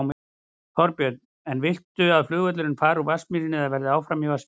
Þorbjörn: En viltu að flugvöllurinn fari úr Vatnsmýri eða verði áfram í Vatnsmýri?